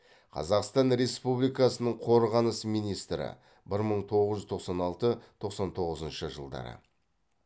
қазақстан республикасының қорғаныс министрі бір мың тоғыз жүз тоқсан алты тоқсан тоғызыншы жылдары